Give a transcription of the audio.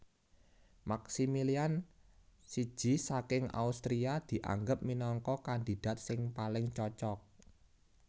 Maximilian I saking Austria dianggep minangka kandidat sing paling cocok